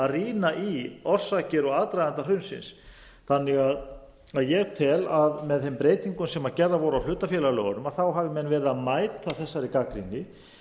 rýna í orsakir og aðdraganda hrunsins þannig að ég tel að með þeim breytingum sem hafa verið gerðar á hlutafélagalögunum þá hafi menn verið að mæta þessari gagnrýni